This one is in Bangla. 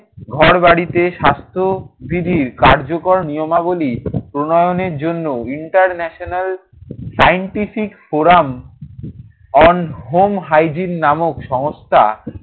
ঘরবাড়িতে স্বাস্থ্যবিধির কার্যকর নিয়মাবলী প্রণয়নের জন্য international scientific forum on home hygiene নামক সংস্থা